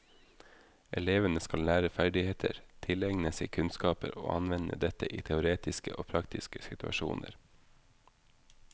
Elevene skal lære ferdigheter, tilegne seg kunnskaper og anvende dette i teoretiske og praktiske situasjoner.